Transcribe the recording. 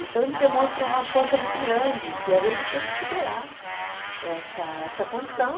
Então ele demonstra uma força muito grande, que a gente tem que superar essa essa condição.